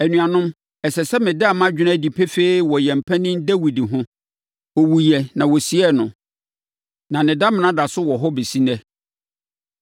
“Anuanom, ɛsɛ sɛ meda mʼadwene adi pefee wɔ yɛn panin Dawid ho. Ɔwuiɛ na wɔsiee no, na ne damena da so wɔ hɔ bɛsi ɛnnɛ.